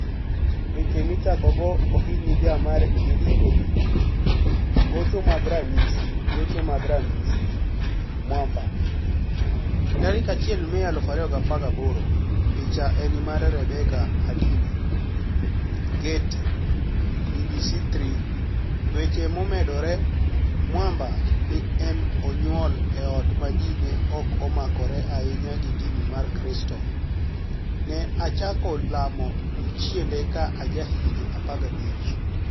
Weche Michakogo Ohiniga mar Jarito Vidio Gocho mag Raniyisi Gocho mag Raniyisi Mwamba: 1 Mei 2018 Picha eni mar Rebecca Henidini / Getty / BBC Three weche momedore Mwamba ni e oniyuol e ot ma ji ni e omakore ahiniya gi dini mar kristo. ni e achako lamo jochienide ka ajahiginii 15.